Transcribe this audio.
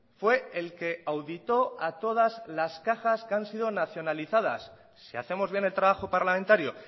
fue el que auditó a todas las cajas que han sido nacionalizadas si hacemos bien el trabajo parlamentario